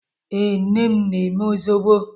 Ee, nne m na-eme zobo.